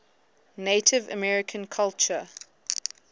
native american culture